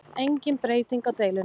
Engin breyting í deilunni